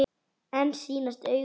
Mér sýnast augu þín tóm.